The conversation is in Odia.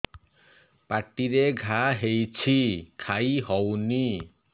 ପାଟିରେ ଘା ହେଇଛି ଖାଇ ହଉନି